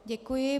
Děkuji.